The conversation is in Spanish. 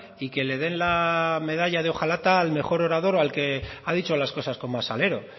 y que le den la medalla de hojalata al mejor orador o al que ha dicho las cosas con más salero